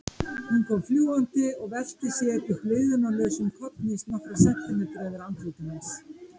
Hún kom fljúgandi og velti sér í blygðunarlausum kollhnís nokkra sentimetra yfir andliti hans.